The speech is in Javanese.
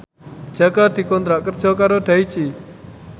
Jaka dikontrak kerja karo Daichi